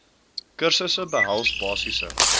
kursusse behels basiese